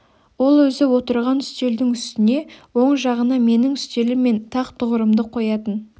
ол өзі отырған үстелдің үстіне оң жағына менің үстелім мен тақ тұғырымды қоятын